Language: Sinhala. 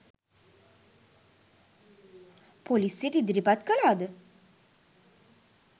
පොලිසියට ඉදිරිපත් කළාද?